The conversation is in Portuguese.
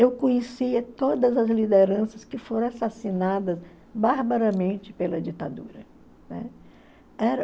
Eu conhecia todas as lideranças que foram assassinadas barbaramente pela ditadura, né? Era